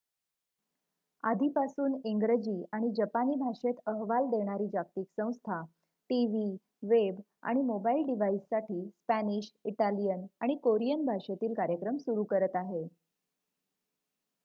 आधीपासून इंग्रजी आणि जपानी भाषेत अहवाल देणारी जागतिक संस्था टीव्ही वेब आणि मोबाइल डिव्हाइससाठी स्पॅनिश इटालियन आणि कोरियन भाषेतील कार्यक्रम सुरू करत आहे